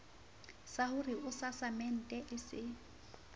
yah ore asasemente e se